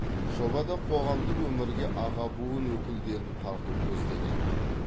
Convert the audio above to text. жобада қоғамдық өмірге аға буын өкілдерін тарту көзделеді